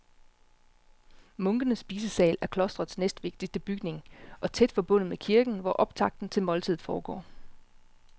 Munkenes spisesal er klostrets næstvigtigste bygning og tæt forbundet med kirken, hvor optakten til måltidet foregår.